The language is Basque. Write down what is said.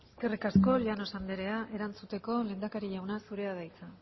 eskerrik asko llanos andrea erantzuteko lehendakari jauna zurea da hitza